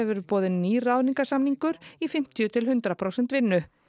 verður boðinn nýr ráðningasamningur í fimmtíu til hundrað prósent vinnu